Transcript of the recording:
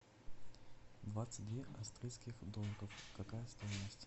двадцать две австрийских долларов какая стоимость